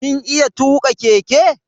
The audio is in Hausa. Kin iya tuka keke?